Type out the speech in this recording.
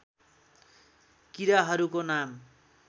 किराहरूको नाम